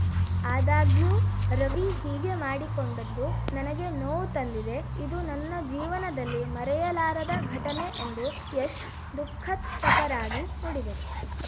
ಆದಾಗ್ಯೂ ರವಿ ಹೀಗೆ ಮಾಡಿಕೊಂಡಿದ್ದು ನನಗೆ ನೋವು ತಂದಿದೆ ಇದು ನನ್ನ ಜೀವನದಲ್ಲಿ ಮರೆಯಲಾರದ ಘಟನೆ ಎಂದು ಯಶ್‌ ದುಃಖತ್ತಪರಾಗಿ ನುಡಿದರು